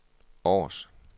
Aars